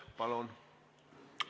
Palun!